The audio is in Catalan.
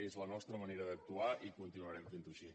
és la nostra manera d’actuar i continuarem fent ho així